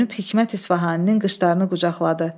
Dönüb Hikmət İsfahaninin qışlarını qucaqladı.